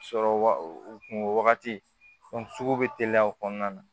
Sɔrɔ wa u kunko wagati bɛ teliya o kɔnɔna na